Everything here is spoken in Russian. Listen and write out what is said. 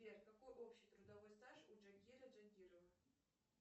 сбер какой общий трудовой стаж у джангира джангирова